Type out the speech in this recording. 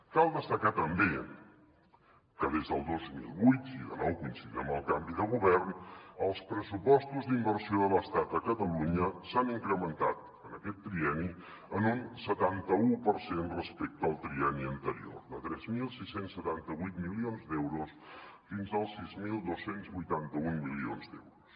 cal destacar també que des del dos mil vuit i de nou coincidint amb el canvi de govern els pressupostos d’inversió de l’estat a catalunya s’han incrementat en aquest trienni en un setanta u per cent respecte al trienni anterior de tres mil sis cents i setanta vuit milions d’euros fins als sis mil dos cents i vuitanta un milions d’euros